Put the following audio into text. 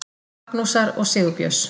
Magnúsar og Sigurbjörns.